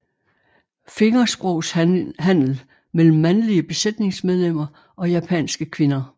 Fingersprogshandel imellem mandlige besætningsmedlemmer og japanske kvinder